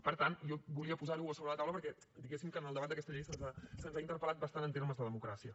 per tant jo volia posar ho a sobre de la taula perquè diguéssim que en el debat d’aquesta llei se’ns ha interpel·lat bastant en termes de democràcia